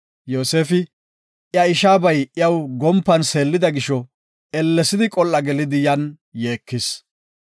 Yoosefi, iya ishaabay iyaw gompan seellida gisho, ellesidi, qol7a gelidi yan yeekis.